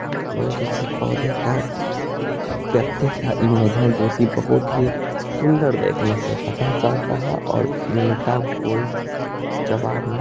किसी पौधे का पत्ते का इमेज है जोकि बहुत ही सूंदर देखने से पता चलता है और उनका कोई जवाब नहीं ह हरे रंग में --